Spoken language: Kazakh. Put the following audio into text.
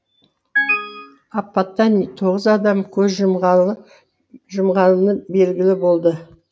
апаттан тоғыз адам көз жұмғаны белгілі болды